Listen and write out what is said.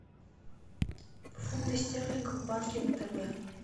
фунты стерлингов в банке втб